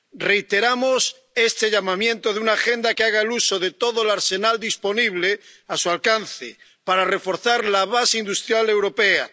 Reiteramos este llamamiento de una agenda que haga uso de todo el arsenal disponible a su alcance para reforzar la base industrial europea